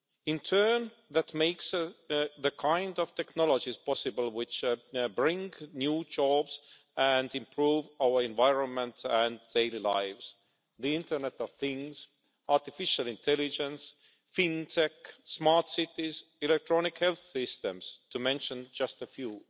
In turn that makes the kind of technologies possible which bring new jobs and improve our environment and daily lives the internet of things', artificial intelligence, fintech, smart cities' and electronic health systems, to mention just a few.